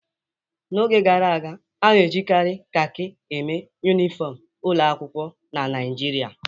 N'oge gara aga, a na-ejikarị kakị eme yunifọmụ ụlọ akwụkwọ na Naịjirịa.